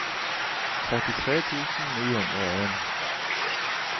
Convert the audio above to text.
trettitre tusen ni hundre og en